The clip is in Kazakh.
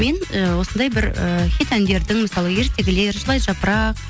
мен і осындай бір і хит әндердің мысалы ертегілер жылайды жапырақ